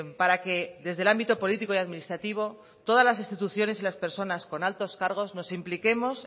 para que desde el ámbito político y administrativo todas las instituciones y las personas con altos cargos nos impliquemos